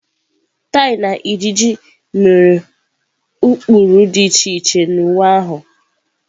Tie na ịjiji mere ụkpụrụ dị iche iche na uwe ahụ.